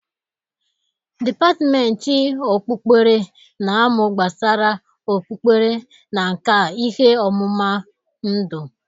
Depatmenti okpukpere na-amụ gbasara okpukpere na nka ihe ọmụma ndụ.